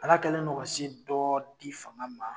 Ala kɛlen do ka se dɔ di fanga ma.